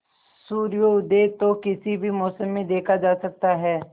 सूर्योदय तो किसी भी मौसम में देखा जा सकता है